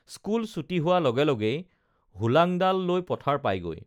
school ছুটি হোৱা লগে লগেই হোলাংডাল লৈ পথাৰ পায়গৈ